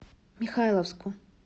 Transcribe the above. михайловску